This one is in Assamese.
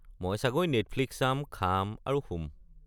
মই চাগৈ নেটফ্লিক্স চাম, খাম আৰু শুম।